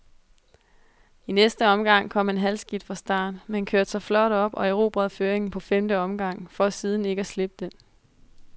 I næste omgang kom han halvskidt fra start, men kørte sig flot op og erobrede føringen på femte omgang, for ikke siden at slippe den.